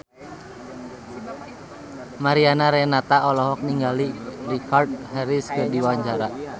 Mariana Renata olohok ningali Richard Harris keur diwawancara